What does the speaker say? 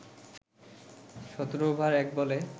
১৭ over ১ বলে